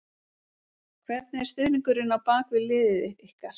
Hvernig er stuðningurinn á bak við liðið ykkar?